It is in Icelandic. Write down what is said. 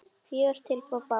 Fjögur tilboð bárust.